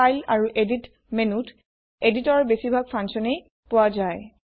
file আৰু edit menuত এদিটৰৰ বেছিভাগ ফাংছনে পোৱা যায়